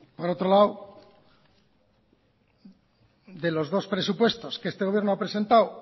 por otro lado de los dos presupuestos que este gobierno ha presentado